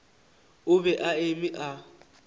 o be a eme a